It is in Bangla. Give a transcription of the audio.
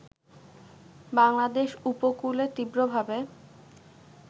বাংলাদেশ উপকূলে তীব্রভাবে